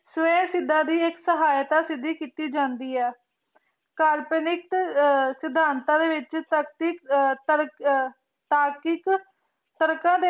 ਸਵੇਸ਼ ਸਿਧਨ ਦੀ ਏਇਕ ਸਾਹਿਯ੍ਤਾ ਸਿਧਿ ਕੀਤੀ ਜਾਂਦੀ ਆਯ ਕਾਲਪਨਿਕ ਸਿਧਾਂਤਾਂ ਦੇ ਵਿਚ ਤਾਰਕਿਕ ਤਰਕ ਤਾਰਕਿਕ ਤਰਕਾਂ ਦੇ